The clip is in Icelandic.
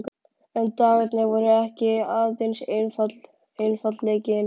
En dagarnir voru ekki aðeins einfaldleikinn uppmálaður.